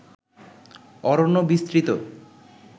অরণ্য বিস্তৃত